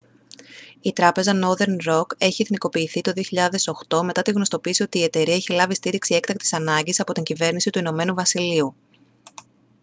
η τράπεζα northern rock είχε εθνικοποιηθεί το 2008 μετά την γνωστοποίηση ότι η εταιρεία είχε λάβει στήριξη έκτακτης ανάγκης από την κυβέρνηση του ην βασιλείου